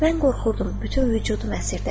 Mən qorxurdum, bütün vücudum əsirdi.